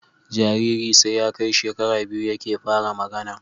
Jariri sai ya Kai shekara biyu yake fara magAna